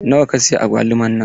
Nawa ka siya agwaluman nan?